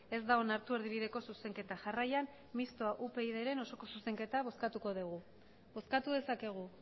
ez da onartu erdibideko zuzenketa jarraian mistoa upydren osoko zuzenketa bozkatuko dugu bozkatu dezakegu